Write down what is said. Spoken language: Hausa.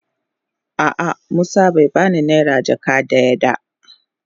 A'a musa bai ba ni naira jaka dayan da.